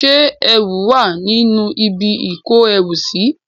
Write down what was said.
Ṣé ẹrù wà nínú ibi ìkóẹrùsí?